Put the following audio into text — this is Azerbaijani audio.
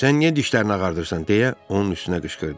sən niyə dişlərini ağardıırsan, deyə onun üstünə qışqırdı.